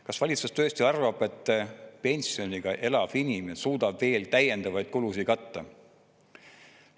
Kas valitsus tõesti arvab, et pensioniga elav inimene suudab veel täiendavaid kulusid katta?